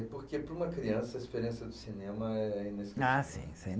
E porque, para uma criança, a experiência do cinema é inesquecível.h, sim, sim!